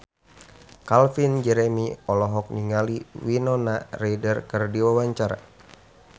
Calvin Jeremy olohok ningali Winona Ryder keur diwawancara